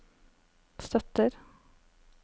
støtter